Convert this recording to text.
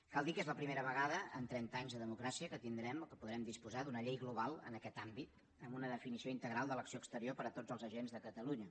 cal dir que és la primera vegada en trenta anys de democràcia que tindrem o que podrem disposar d’una llei global en aquest àmbit amb una definició integral de l’acció exterior per a tots els agents de catalunya